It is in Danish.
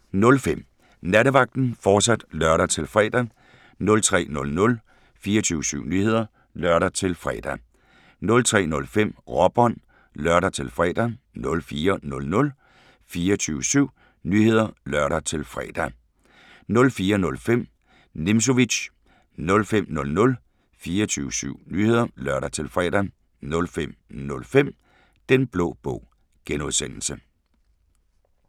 02:05: Nattevagten, fortsat (lør-fre) 03:00: 24syv Nyheder (lør-fre) 03:05: Råbånd (lør-fre) 04:00: 24syv Nyheder (lør-fre) 04:05: Nimzowitsch 05:00: 24syv Nyheder (lør-fre) 05:05: Den Blå Bog (G)